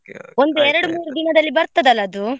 ಮೂರು ದಿನದಲ್ಲಿ ಬರ್ತದಲ್ಲ ಅದು?